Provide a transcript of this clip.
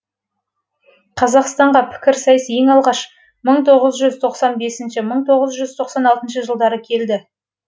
қазақстанға пікірсайыс ең алғаш жылдары келді